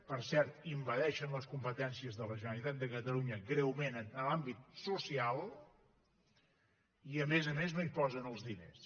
per cert envaeixen les competències de la generalitat de catalunya greument en l’àmbit social i a més a més no hi posen els diners